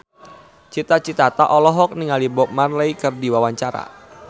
Cita Citata olohok ningali Bob Marley keur diwawancara